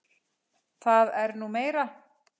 Það er nú meira.